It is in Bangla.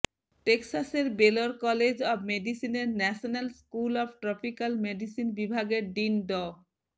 টেক্সাসের বেলর কলেজ অব মেডিসিনের national school of tropical medicine বিভাগের ডিন ড